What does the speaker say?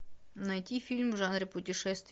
найти фильм в жанре путешествия